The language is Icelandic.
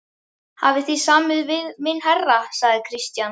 Hafið þið samið við minn herra, sagði Christian.